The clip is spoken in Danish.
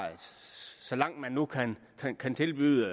så langt det nu kan tilbydes